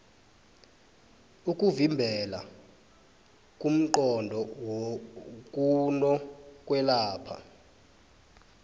ukuvimbela kungqono kuno kwelapha